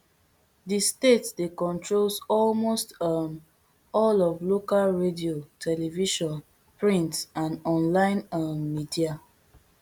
di state dey controls almost um all of local radio television print and online um media